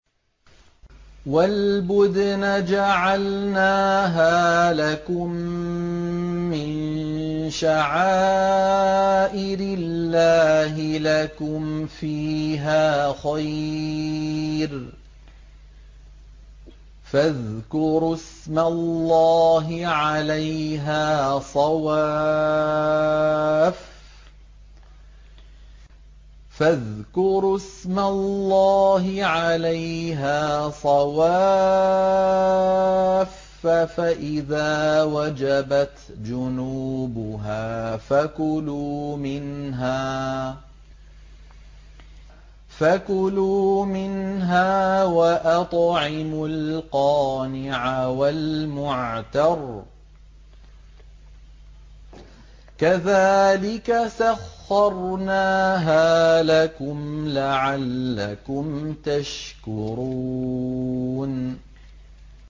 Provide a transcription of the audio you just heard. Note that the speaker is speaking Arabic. وَالْبُدْنَ جَعَلْنَاهَا لَكُم مِّن شَعَائِرِ اللَّهِ لَكُمْ فِيهَا خَيْرٌ ۖ فَاذْكُرُوا اسْمَ اللَّهِ عَلَيْهَا صَوَافَّ ۖ فَإِذَا وَجَبَتْ جُنُوبُهَا فَكُلُوا مِنْهَا وَأَطْعِمُوا الْقَانِعَ وَالْمُعْتَرَّ ۚ كَذَٰلِكَ سَخَّرْنَاهَا لَكُمْ لَعَلَّكُمْ تَشْكُرُونَ